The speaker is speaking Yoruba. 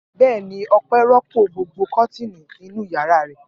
Bẹ́ẹ̀ ni, Ọpẹ́ òpó gbogbo kọ́tíìnì inú ìyàrá rẹ̀.